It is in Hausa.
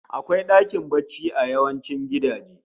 Akwai dakin barci a yawancin gidaje